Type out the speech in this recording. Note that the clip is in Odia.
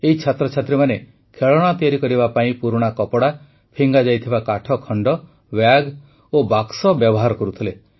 ଏହି ଛାତ୍ରଛାତ୍ରୀମାନେ ଖେଳଣା ତିଆରି କରିବା ପାଇଁ ପୁରୁଣା କପଡ଼ା ଫିଙ୍ଗାଯାଇଥିବା କାଠଖଣ୍ଡ ବ୍ୟାଗ୍ ଓ ବାକ୍ସ ବ୍ୟବହାର କରୁଥିଲେ